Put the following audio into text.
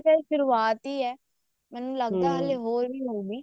ਹਜੇ ਤਾਂ ਇਹ ਸ਼ੁਰਆਤ ਹੀ ਹੈ ਮੈਨੂੰ ਲੱਗਦਾ ਹਲੇ ਹੋਰ ਵੀ ਹੋਊਗੀ